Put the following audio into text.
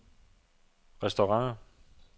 restauranter